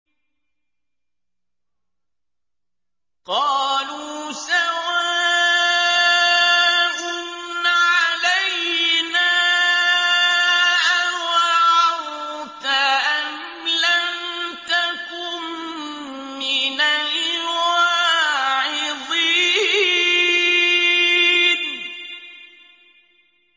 قَالُوا سَوَاءٌ عَلَيْنَا أَوَعَظْتَ أَمْ لَمْ تَكُن مِّنَ الْوَاعِظِينَ